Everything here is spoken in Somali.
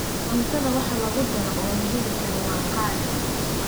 Cuntada waxa lagudaroo oo la heli karo waa qaali.